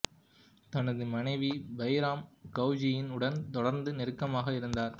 தனது மனைவி பைரம் கொகேஜின் உடன் தொடர்ந்து நெருக்கமாக இருந்தார்